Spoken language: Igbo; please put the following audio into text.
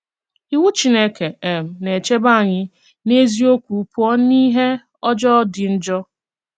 Ìwù Chìnékè um na-èchèbè ànyị̀ n’eziokwu pụọ n’ìhè ọ̀jọọ dị njọ.